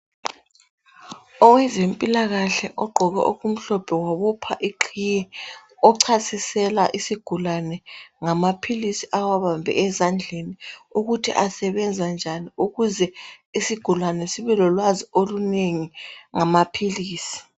Owezempilakahle ogqoke okumhlophe wabopha iqhiye. Ochasisela isigulane ngamaphilisi owabambe ezandleni ukuthi asebenza njani ukuze isigulane sibe lolwazi olunengi ngamaphilisi.